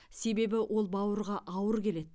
себебі ол бауырға ауыр келеді